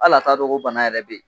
Ala t'a don ko bana yɛrɛ bɛ yen.